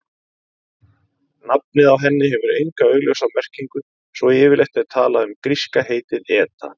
Nafnið á henni hefur enga augljósa merkingu svo yfirleitt er talað um gríska heitið eta.